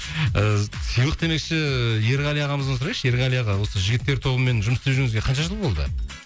ыыы сыйлық демекші ерғали ағамыздан сұрайыншы ерғали аға осы жігіттер тобымен жұмыс істеп жүргеніңізге қанша жыл болды